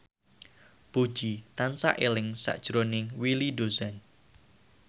Puji tansah eling sakjroning Willy Dozan